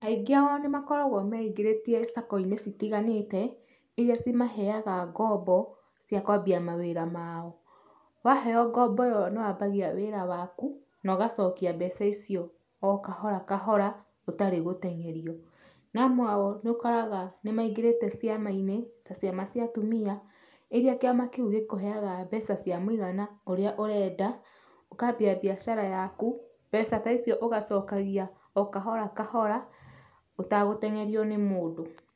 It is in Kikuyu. Aingĩ ao nĩmakoragwo meingĩrĩtie sacco-inĩ citiganĩte, ĩrĩa cimaheaga ngombo cia kwambia mawĩra mao. Waheywo ngombo ĩyo nĩwambagia wĩra waku nogacokia mbeca icio o kahora kahora gũtarĩ gũteng'erio. Na amwe ao nĩũkoraga nĩmaingĩrĩte ciama-inĩ ta ciama cia atumia, iria kĩama kĩu gĩkũheaga mbeca cia mũigana ũrĩa ũrenda, ũkambia biacara yaku, mbeca ta icio ũgacokagia o kahora kahora ũtagũteng'erio nĩ mũndũ.